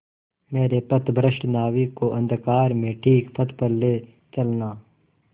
मेरे पथभ्रष्ट नाविक को अंधकार में ठीक पथ पर ले चलना